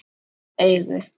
Lukt augu